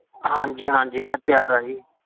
ਹਾਂਜੀ ਹਾਂਜੀ, ਮੈਂ ਤਿਆਰ ਹਾਂ ਜੀ